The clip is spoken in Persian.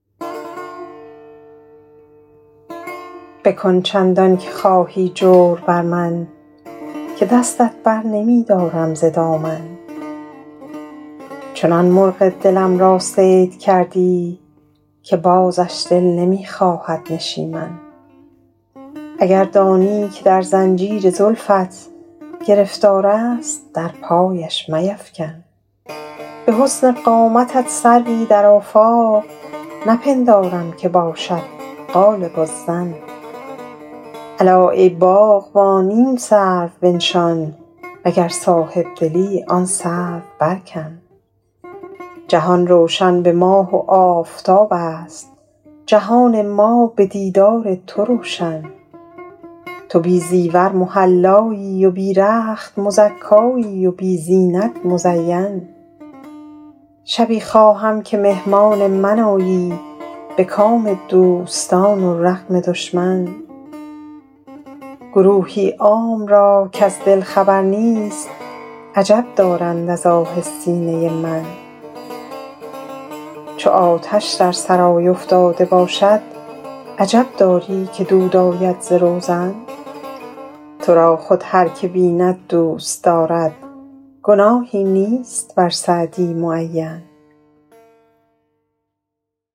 بکن چندان که خواهی جور بر من که دستت بر نمی دارم ز دامن چنان مرغ دلم را صید کردی که بازش دل نمی خواهد نشیمن اگر دانی که در زنجیر زلفت گرفتار است در پایش میفکن به حسن قامتت سروی در آفاق نپندارم که باشد غالب الظن الا ای باغبان این سرو بنشان و گر صاحب دلی آن سرو برکن جهان روشن به ماه و آفتاب است جهان ما به دیدار تو روشن تو بی زیور محلایی و بی رخت مزکایی و بی زینت مزین شبی خواهم که مهمان من آیی به کام دوستان و رغم دشمن گروهی عام را کز دل خبر نیست عجب دارند از آه سینه من چو آتش در سرای افتاده باشد عجب داری که دود آید ز روزن تو را خود هر که بیند دوست دارد گناهی نیست بر سعدی معین